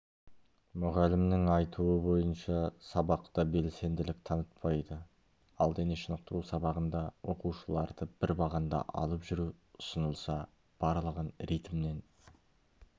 мұғалімнің айтуы бойынша сабақта белсенділік танытпайды ал дене шынықтыру сабағында оқушыларды бір бағанда алып жүру ұсынылса барлығын ритмнен